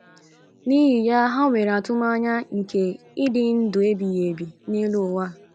N’ihi ya, ha nwere atụmanya nke ịdị ndụ ebighị ebi n’elu ụwa.